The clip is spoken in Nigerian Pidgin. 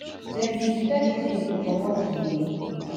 dem be di first team to comot di